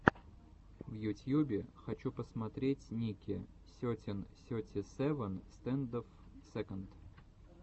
в ютьюбе хочу посмотреть ники сетин сети севен стэндофф сэконд